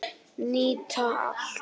Nýta allt